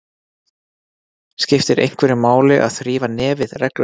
Skiptir einhverju máli að þrífa nefið reglulega?